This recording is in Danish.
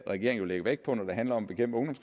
regeringen lægger vægt på når det handler om